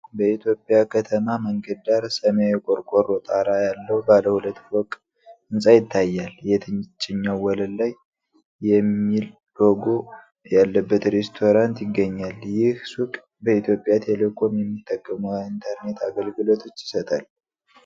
በኢትዮጵያ ከተማ መንገድ ዳር፣ ሰማያዊ ቆርቆሮ ጣራ ያለው ባለ ሁለት ፎቅ ሕንፃ ይታያል። የታችኛው ወለል ላይ የሚል ሎጎ ያለበት ሬስቶራንት ይገኛል። ይህ ሱቅ በኢትዮጵያ ቴሌኮም የሚጠቀሙ ኢንተርኔት አገልግሎቶች ይሰጣል?